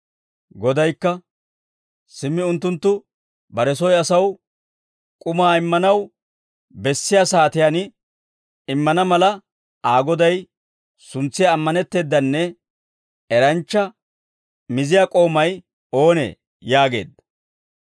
Godaykka, «Simmi unttunttu bare soy asaw k'umaa immanaw bessiyaa saatiyaan immana mala, Aa goday suntsiyaa ammanetteedanne eranchcha miziyaa k'oomay oonee?» yaageedda.